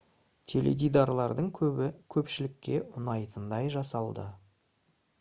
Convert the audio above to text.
теледидарлардың көбі көпшілікке ұнайтындай жасалды